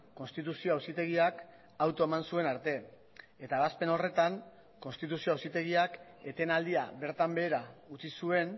konstituzio auzitegiak auto eman zuen arte eta ebazpen horretan konstituzio auzitegiak etenaldia bertan behera utzi zuen